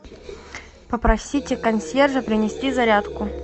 попросите консьержа принести зарядку